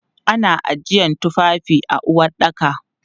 Ana ajiyan tufafi a uwaɗɗaka.